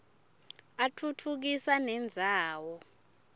atfutfukisa nendzawo